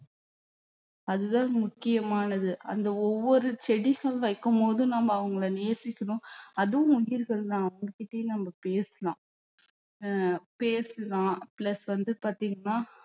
அதுதான் முக்கியமானது அந்த ஒவ்வொரு செடிகள் வைக்கும்போதும் நம்ம அவங்களை நேசிக்கணும் அதுவும் உயிர்கள்தான் அவங்ககிட்டயே நம்ம பேசலாம் ஆஹ் பேசலாம் plus வந்து பாத்தீங்கன்னா